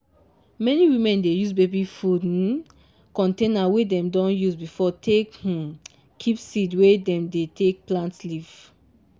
many women dey use baby food um container wey dem don use before take um keep seed wey dem dey take plant leaf.